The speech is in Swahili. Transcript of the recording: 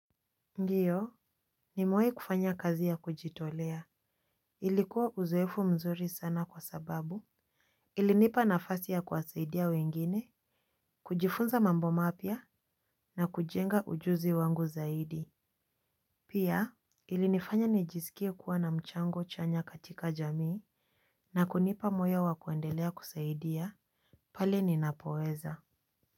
Ndiyo nimewai kufanya kazi ya kujitolea ilikuwa uzoefu mzuri sana kwa sababu ilinipa nafasi ya kuwasaidia wengine kujifunza mambo mapya na kujenga ujuzi wangu zaidi. Pia ilinifanya nijisikie kuwa na mchango chanya katika jamii na kunipa moyo wa kuendelea kusaidia pale ninapoweza.